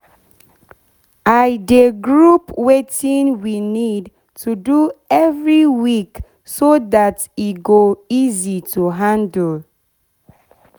i de group wetin we need to do every week so dat e go easy to handle